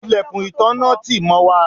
ilẹ̀kùn ìtanná tì mọ́ wà